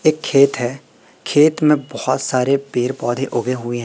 एक खेत है खेत में बहुत सारे पेड़ पौधे उगे हुए हैं।